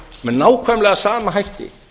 með nákvæmlega sama hætti